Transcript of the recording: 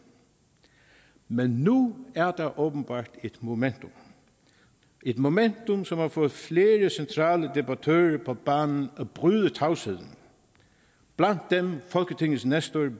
men nu er der åbenbart et momentum et momentum som har fået flere centrale debattører på banen og bryde tavsheden blandt dem folketingets nestor